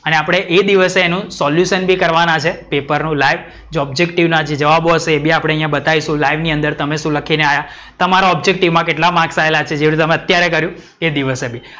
અને આપડે એ દિવસે એનું સોલ્યુસન બી કરવાના છે પેપર નું લાઈવ જે ઓબ્જેક્ટિવ ના જે જવાબ હશે એ બી આપણે બતાઈશું લાઈવ ની અંદર કે તમે શું લખીને આયા? તમારો ઓબ્જેક્ટિવ માં કેટલા માર્ક આયેલા છે જે તમે અત્યારે કર્યું એ દિવસે.